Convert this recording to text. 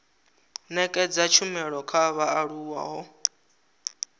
nekedza tshumelo kha vhaaluwa ho